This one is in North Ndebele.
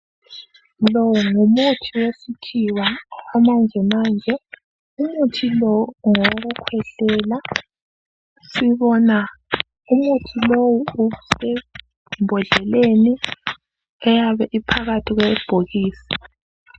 Lo ngumuthi wesikhiwa owesimanjemanje, umuthi lowu ngowokukhwehlela. Sibona umuthi lo usembodleleni eyabe iphakathi kwebhokisi.